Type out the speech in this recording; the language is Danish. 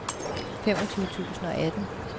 femogtyve tusind og atten